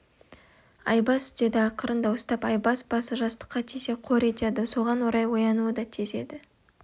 айбас деді ақырын дауыстап айбас басы жастыққа тисе қор етеді соған орай оянуы да тез еді